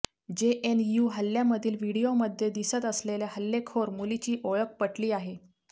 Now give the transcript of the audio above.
JNU हल्ल्यामधील व्हिडिओमध्ये दिसत असलेल्या हल्लेखोर मुलीची ओळख पटली आहे